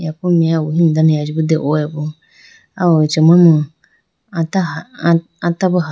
Yaku meya bo wuhimi dane dehoyibo aw achama ata ha ata bo ha.